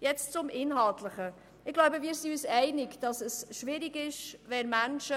Nun zum Inhaltlichen: Wir sind uns wohl einig, dass es schwierig ist, wenn Menschen